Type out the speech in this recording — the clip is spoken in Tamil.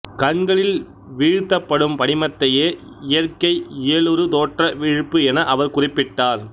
கண்களில் வீழ்த்தப்படும் படிமத்தையே இயற்கை இயலுறு தோற்ற வீழ்ப்பு என அவர் குறிப்பிட்டார்